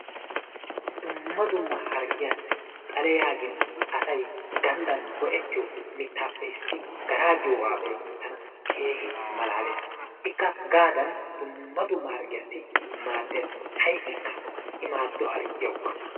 Dumma dumma hargiyaasi xale yaagin asay ganddan go'ettiyo mitaappe issi garaa giyoogaa be'in tana keehi malaalees. ikka gaadan dumma dumma hargiyaasi maadees. ha'ikka i maado harggiyaawukka.